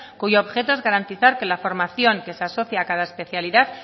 cuyo objeto es garantizar que la formación que se asocia a cada especialidad